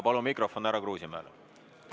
Palun mikrofon härra Kruusimäele!